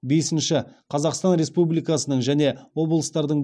бесінші қазақстан республикасының және облыстардың